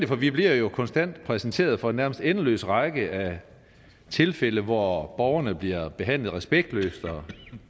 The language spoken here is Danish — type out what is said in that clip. for vi bliver jo konstant præsenteret for en nærmest endeløs række af tilfælde hvor borgerne bliver behandlet respektløst og